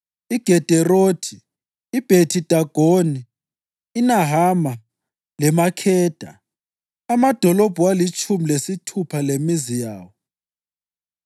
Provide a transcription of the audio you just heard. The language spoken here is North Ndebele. iGederothi, iBhethi-Dagoni, iNahama leMakheda, amadolobho alitshumi lesithupha lemizi yawo.